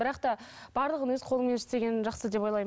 бірақ та барлығын өз қолымен істеген жақсы деп ойлаймын